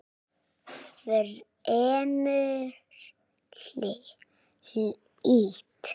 Fremur hlýtt.